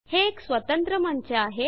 हे एक स्वतंत्र मंच आहे